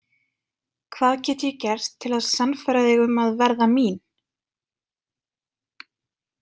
Hvað get ég gert til að sannfæra þig um að verða mín?